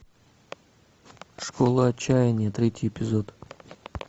школа отчаяния третий эпизод